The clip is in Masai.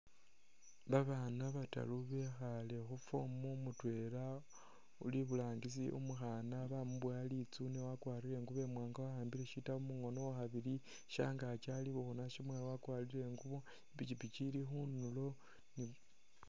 Babaana bataru bekhaale khu fomu mutwela uli iburangisi umukhaana bamuboya litsuune wakwarire ingubo imwaanga wa'ambile shitabu mukhono, uwakhabili shangaaki ali bukhuna syamwaalo wakwarire ingubo, i'pikipiki ili khunulo.